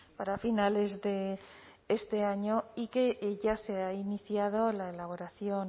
para finales de este año y que ya se ha iniciado la elaboración